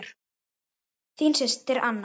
Þín systir Anna.